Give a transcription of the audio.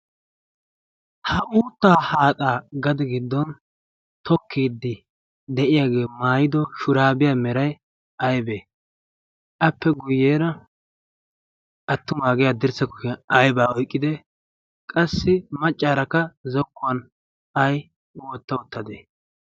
Ha uuttaa haaxaa gade giddon tokkiiddi de'iyagee maayido shuraabiya meray aybee? appe guyeera attumaagee haddirssa kushiyan aybaa oyqqidee? qassi maccaarakka zokkuwan ay wotta uttadee?